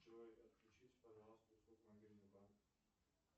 джой отключите пожалуйста услугу мобильный банк